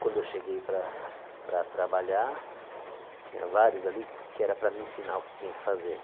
Quando eu cheguei para para trabalhar, tinha vários ali que era para me ensinar o que tinha que fazer.